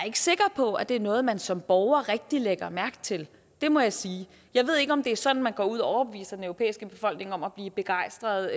ikke sikker på at det er noget man som borger rigtig lægger mærke til det må jeg sige jeg ved ikke om det er sådan man går ud og overbeviser den europæiske befolkning om at blive begejstret